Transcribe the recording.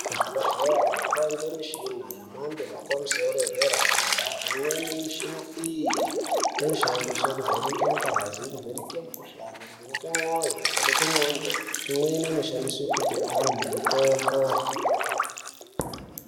Kuzvibhehlera kwane mishina yepamusoro yemhando yedera dera. Imweni yemishina iyi inoshandiswe kuvheneke ngazi, kuvheneke mukhuhlane, kuvheneke mwoyo, kuvheneke ndxondo, imweni inoshandiswa kupe antu mitombo.